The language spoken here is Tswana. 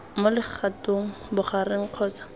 mo legatong la bogareng kgotsa